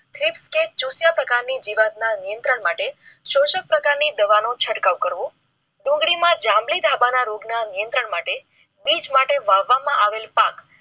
જોશી પ્રકાર ની જીવાત ના નિયંત્રણ માટે શોષક પ્રકાર ની દવા નો છટકાવ કરવો. ડુંગળીમાં જંલી દબાણો નિયંત્રણ માટે બીચ માટે વાવવા માં આવેલ પાક.